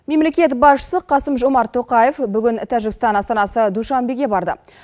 мемлекет басшысы қасым жомарт тоқаев бүгін тәжікстан астанасы душанбеге барды